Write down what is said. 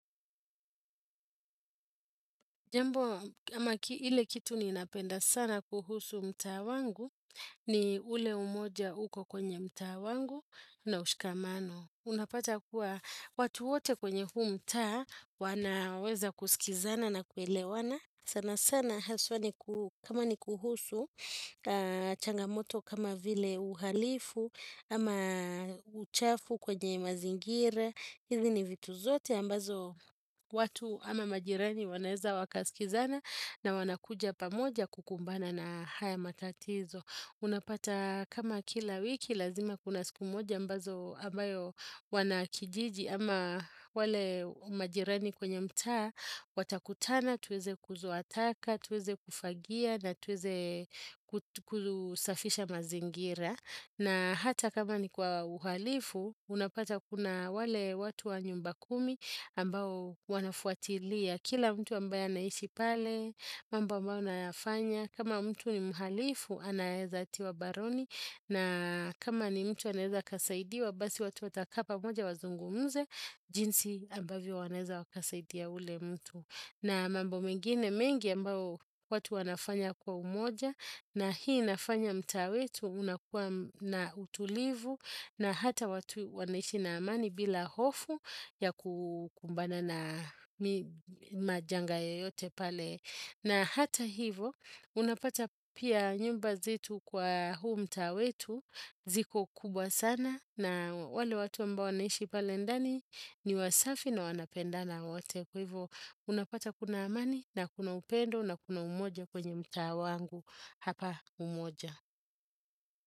Jambo, ama ile kitu ninapenda sana kuhusu mtaa wangu ni ule umoja uko kwenye mtaa wangu na ushikamano. Unapata kuwa watu wote kwenye huu mtaa wanaweza kusikizana na kuelewana. Sana sana haswa kama ni kuhusu changamoto kama vile uhalifu ama uchafu kwenye mazingira. Hizi ni vitu zote ambazo watu ama majirani wanaeza wakaskizana na wanakuja pamoja kukumbana na haya matatizo. Unapata kama kila wiki lazima kuna siku moja ambayo wanakijiji ama wale majirani kwenye mtaa watakutana tuweze kuzoa taka, tuweze kufagia na tuweze kusafisha mazingira. Na hata kama ni kwa uhalifu, unapata kuna wale watu wa nyumba kumi ambao wanafuatilia. Kila mtu ambaye anaishi pale, mambo ambayo nayafanya. Kama mtu ni mhalifu, anaeza tiwa baroni. Na kama ni mtu anaeza akasaidiwa, basi watu wataka pamoja wazungumze. Jinsi ambavyo wanaeza wakasaidia yule mtu. Na mambo mengine mengi ambayo watu wanafanya kwa umoja. Na hii inafanya mtaa wetu unakuwa na utulivu na hata watu wanaishi na amani bila hofu ya kukumbana na majanga yoyote pale. Na hata hivo unapata pia nyumba zetu kwa huu mtaa wetu ziko kubwa sana na wale watu ambao wanaishi pale ndani ni wasafi na wanapendana wote. Kwa hivyo unapata kuna amani na kuna upendo na kuna umoja kwenye mtaa wangu hapa Umoja.